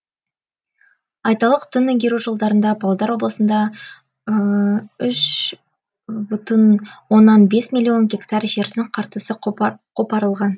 айталық тың игеру жылдарында павлодар облысында үш бүтін оннан бес миллион гектар жердің қыртысы қопарылған